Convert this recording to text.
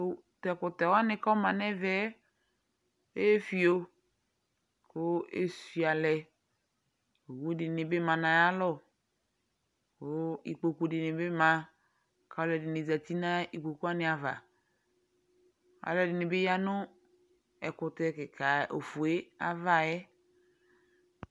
Tʋ ɛkʋtɛ wanɩ kʋ ɔma nʋ ɛvɛ yɛ efio kʋ esuiǝ lɛ Owu dɩnɩ bɩ ma nʋ ayalɔ kʋ ikpoku dɩnɩ bɩ ma kʋ alʋɛdɩnɩ zati nʋ ikpoku wanɩ ava Alʋɛdɩnɩ bɩ ya nʋ ɛkʋtɛ kɩka ofue ava yɛ